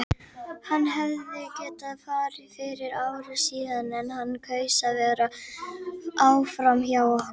Hann hefði getað farið fyrir ári síðan en hann kaus að vera áfram hjá okkur.